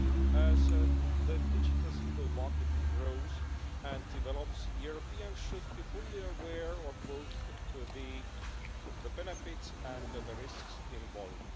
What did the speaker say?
As the digital single market grows and develops, Europeans should be fully aware of both the benefits and the risks involved.